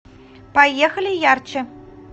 поехали ярче